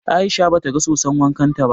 Aisha ba ta ga soson wankan ta ba